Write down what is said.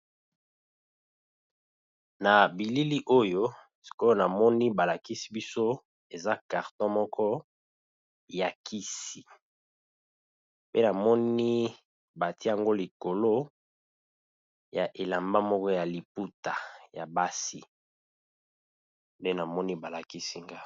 Na bilili oyo sikoyo namoni ba lakisi biso eza carton moko ya kisi, pe namoni batie yango likolo ya elamba moko ya liputa ya basi nde namoni ba lakisi nga.